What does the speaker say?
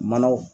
Manaw